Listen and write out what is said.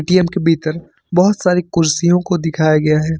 के भीतर बहुत सारी कुर्सियों को दिखाया गया है।